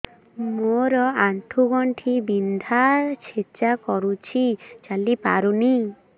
ମୋର ଆଣ୍ଠୁ ଗଣ୍ଠି ବିନ୍ଧା ଛେଚା କରୁଛି ଚାଲି ପାରୁନି